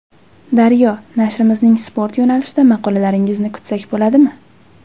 Daryo: Nashrimizning sport yo‘nalishida maqolalaringizni kutsak bo‘ladimi?